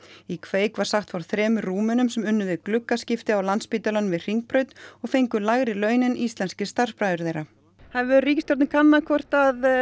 í kveik var sagt frá þremur Rúmenum sem unnu við á Landspítalanum við Hringbraut og fengu lægri laun en íslenskir starfsbræður þeirra hefur ríkisstjórnin kannað hvort